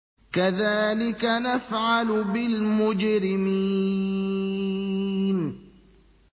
كَذَٰلِكَ نَفْعَلُ بِالْمُجْرِمِينَ